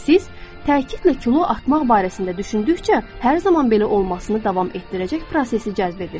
Siz təkidlə kilo atmaq barəsində düşündükcə, hər zaman belə olmasını davam etdirəcək prosesi cəzb edirsiz.